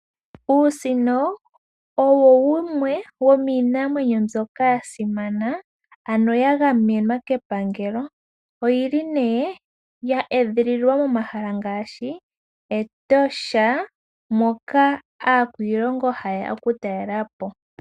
Uusino owo wumwe womiinamwenyo mbyoka yasimana, ano yagamenwa kepangalo. Oyili yeedhililwa momahala ngaashi Etosha National Park moka aakwiilongo hayeya okutalelapo.